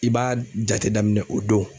I b'a jate daminɛ o don.